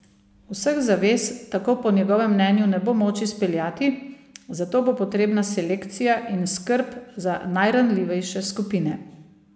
Vseh zavez tako po njegovem mnenju ne bo moč izpeljati, zato bo potrebna selekcija in skrb za najranljivejše skupine.